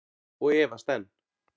Og efast enn.